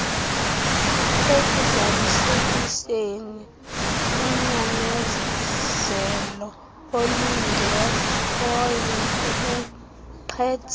ekuzalisekiseni unyamezeloolungekhoyo kubuqhetseba